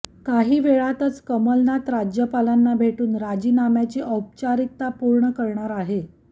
काही वेळातच कमलनाथ राज्यपालांना भेटून राजीनाम्याची औपचारिकता पूर्ण करणार आहे